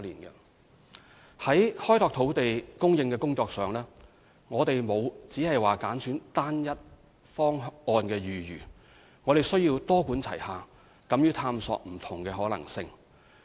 在開拓土地供應的工作上，我們沒有只挑單一方案的餘地，而必須多管齊下，敢於探索不同的可能性。